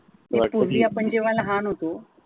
पूर्वी आपण जेव्हा लहान होतो.